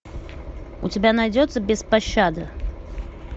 у тебя найдется без пощады